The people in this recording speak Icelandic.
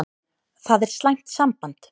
Það er slæmt samband.